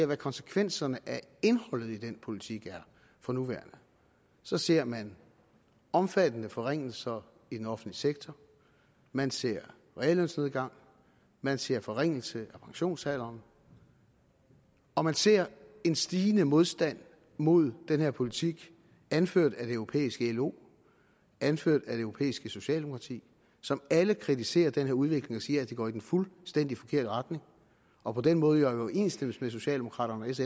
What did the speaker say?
hvad konsekvenserne af indholdet i den politik er for nuværende så ser man omfattende forringelser i den offentlige sektor man ser reallønsnedgang man ser forringelse af pensionsalderen og man ser en stigende modstand mod den her politik anført af det europæiske lo anført af det europæiske socialdemokrati som alle kritiserer den her udvikling og siger at det går i den fuldstændig forkerte retning og på den måde jo er i overensstemmelse med socialdemokraternes